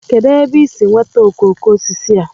kedụ ebe i si nweta okoko osisi a?